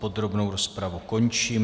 Podrobnou rozpravu končím.